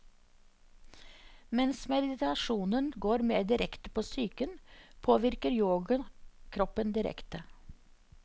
Mens meditasjonen går mer direkte på psyken, påvirker yoga kroppen direkte.